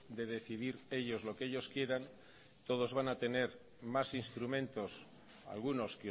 de decidir ellos lo que ellos quieran todos van a tener más instrumentos algunos